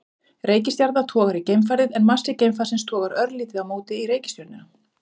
Reikistjarna togar í geimfarið en massi geimfarsins togar örlítið á móti í reikistjörnuna.